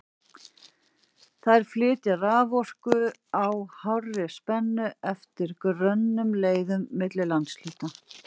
Þær flytja raforku á hárri spennu eftir grönnum leiðurum milli landshluta.